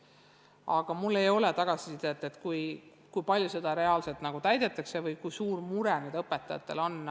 Aga mul ei ole tagasisidet, kui palju seda reaalselt täidetakse või kui suur mure õpetajatel on.